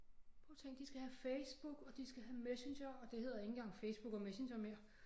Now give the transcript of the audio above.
Prøv at tænke de skal have Facebook og de skal have Messenger og det hedder ikke engang Facebook og Messenger mere